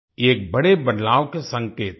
ये एक बड़े बदलाव के संकेत हैं